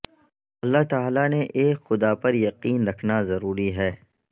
اللہ تعالی نے ایک خدا پر یقین رکھنا ضروری ہے